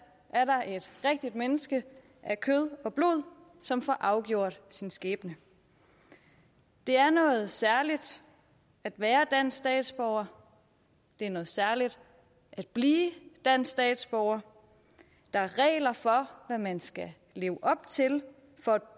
er der et rigtigt menneske af kød og blod som får afgjort sin skæbne det er noget særligt at være dansk statsborger det er noget særligt at blive dansk statsborger der er regler for hvad man skal leve op til for at